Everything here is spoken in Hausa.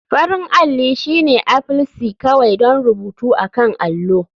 Farin alli shine aplce kawai don rubutu akan allo.